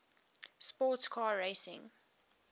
sports car racing